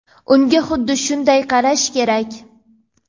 Unga xuddi shunday qarash kerak.